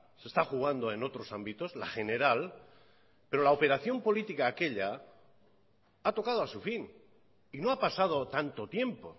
se está jugando en otros ámbitos la general pero la operación política aquella a tocado a su fin y no ha pasado tanto tiempo